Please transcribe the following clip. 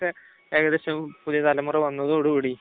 ഇപ്പം അതൊക്കെ ഏകദേശം പുതിയ തലമുറ വന്നതോടുകൂടി